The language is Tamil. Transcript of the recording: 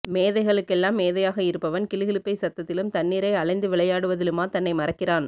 மேதைகளுக் கெல்லாம் மேதையாக இருப்பவன் கிலுகிலுப்பை சத்தத்திலும் தண்ணீரை அளைந்து விளையாடுவதிலுமா தன்னை மறக்கிறான்